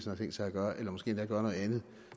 har tænkt sig gøre eller måske endda gøre noget andet